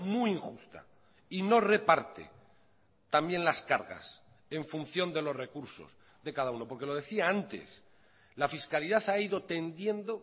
muy injusta y no reparte también las cargas en función de los recursos de cada uno porque lo decía antes la fiscalidad ha ido tendiendo